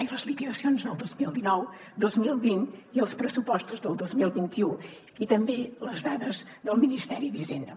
ai les liquidacions del dos mil dinou dos mil vint i els pressupostos del dos mil vint u i també les dades del ministeri d’hisenda